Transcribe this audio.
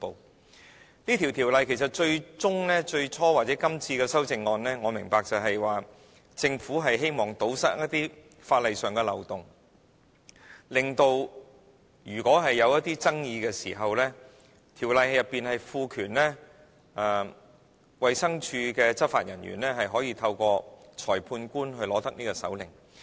我明白這項《條例草案》其實最終、最初或者今次的修正案，是政府希望堵塞一些法例上的漏洞，令到如果出現爭議時，條例賦權衞生署的執法人員，可以透過裁判官取得搜查令。